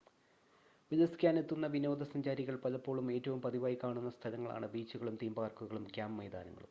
ഉല്ലസിക്കാനെത്തുന്ന വിനോദ സഞ്ചാരികൾ പലപ്പോഴും ഏറ്റവും പതിവായി കാണുന്ന സ്ഥലങ്ങളാണ് ബീച്ചുകളും തീം പാർക്കുകളും ക്യാമ്പ് മൈതാനങ്ങളും